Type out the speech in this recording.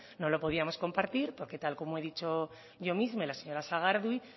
no lo podíamos compartir porque tal y como he dicho yo misma y la señora sagardui